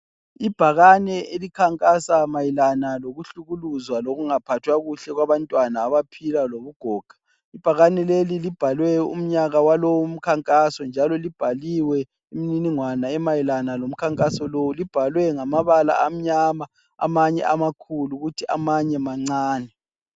Ibhakane elikhankasa mayelana lokuhlukuluzwa lokungaphathwa kuhle kwabantwana abaphila lobugoga. Ibhakane leli libhalwe umnyaka walowu umkhankaso njalo libhaliwe imininingwana emayelana lomkhankaso lowu, libhalwe ngamabala amnyama amanye amakhulu kuthi amanye mancane.